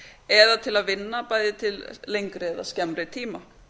eða til að vinna til lengri eða skemmri tíma